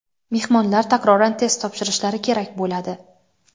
mehmonlar takroran test topshirishlari kerak bo‘ladi.